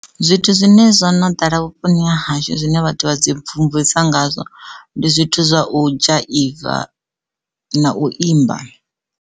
Zwithu zwine zwo no ḓala vhuponi ha hashu zwine vhathu vha dzi mvumvusa ngazwo ndi zwithu zwa u dzhaiva na u imba.